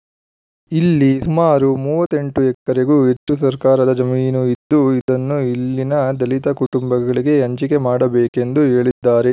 ಇಲ್ಲಿ ಸುಮಾರು ಮೂವತ್ತ್ ಎಂಟು ಎಕರೆಗೂ ಹೆಚ್ಚು ಸರ್ಕಾರದ ಜಮೀನು ಇದ್ದು ಇದನ್ನು ಇಲ್ಲಿನ ದಲಿತ ಕುಟುಂಬಗಳಿಗೆ ಹಂಚಿಕೆ ಮಾಡಬೇಕೆಂದು ಹೇಳಿದ್ದಾರೆ